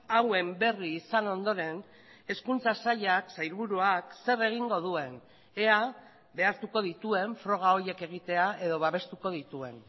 hauen berri izan ondoren hezkuntza sailak sailburuak zer egingo duen ea behartuko dituen froga horiek egitea edo babestuko dituen